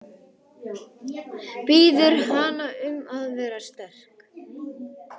Biður hana um að vera sterk.